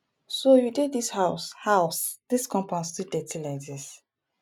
so you dey dis house house dis compound still dirty like this